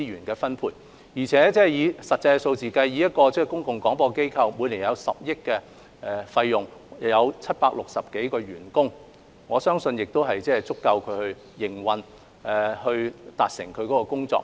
而且，從實際數字來看，我相信一個公共廣播機構每年開支約10億元，有760多個員工，足以應付其營運和完成工作所需。